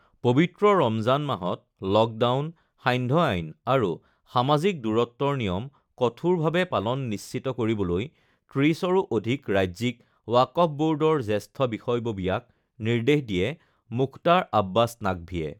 পবিত্ৰ ৰমজান মাহত লকডাউন, সান্ধ্য আইন আৰু সমাজিক দূৰত্বৰ নিয়ম কঠোৰভাৱে পালন নিশ্চিত কৰিবলৈ ৩০ৰো অধিক ৰাজ্যিক ৱাকফ বৰ্ডৰ জেষ্ঠ বিষয়ববীয়াক নিৰ্দেশ দিয়ে মুখতাৰ আব্বাছ নাকভিয়ে